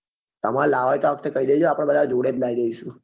તમાર લાવવી હોય તો આ વખતે કહી દેજો આપડે બધા જોડે જ લાવી દઈશું